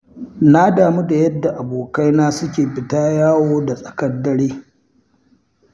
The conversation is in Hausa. Na damu da yadda abokaina suke fita yawon da tsakar dare.